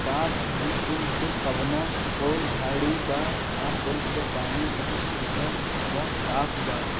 साथ ही पूल के कवना और झाड़ी बा आ पूल के पानी बहुत सुंदर व साफ बा।